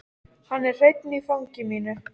Hann er hreinn í fangi mínu.